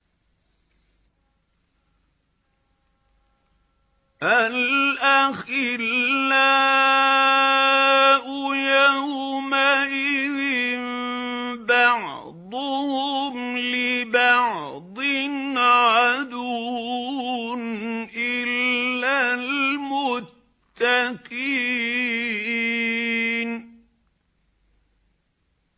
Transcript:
الْأَخِلَّاءُ يَوْمَئِذٍ بَعْضُهُمْ لِبَعْضٍ عَدُوٌّ إِلَّا الْمُتَّقِينَ